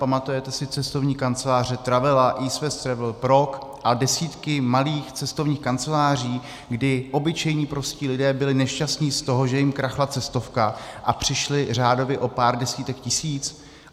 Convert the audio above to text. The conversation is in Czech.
Pamatujete si cestovní kanceláře Travela, East West Travel, Prok (?) a desítky malých cestovních kanceláří, kdy obyčejní prostí lidé byli nešťastní z toho, že jim krachla cestovka a přišli řádově o pár desítek tisíc?